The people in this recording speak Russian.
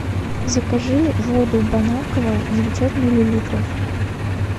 закажи воду бон аква девятьсот миллилитров